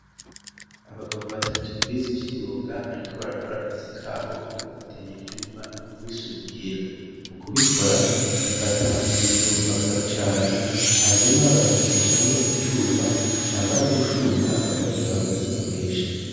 Abagabo batatu bize ivy'imyuga bariko barakora akazi kabo ko gufatanya ivyuma no kubisudira mu kubikora bafata umuriro bakacana hanyuma bagacishamwo icuma yamara gushuha bagaheza bakagikoresha.